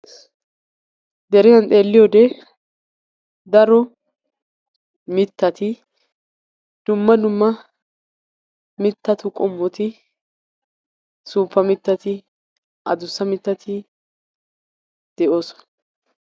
Deriyan xeelliyoode daro mittati dumma dumma mittatu qommoti, suuppa mittati, addussa mittati de'oosona.